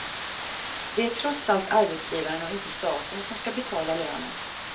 Det är trots allt arbetsgivaren och inte staten som ska betala lönen.